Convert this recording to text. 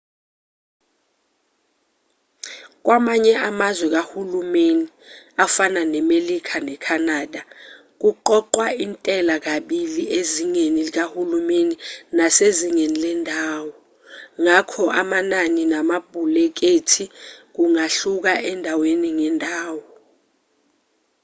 kwamanye amazwe kahulumeni afana nemelika ne-canada kuqoqwa intela kokubili ezingeni likahulumeni nasezingeni lendawo ngakho amanani namabhulekethi kungahluka endaweni ngendawo